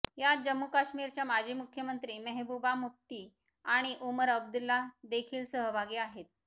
यात जम्मू काश्मीरच्या माजी मुख्यमंत्री मेहबूबा मुफ्ती आणि उमर अब्दुल्ला देखील सहभागी आहेत